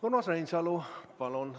Urmas Reinsalu, palun!